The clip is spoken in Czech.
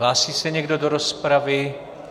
Hlásí se někdo do rozpravy?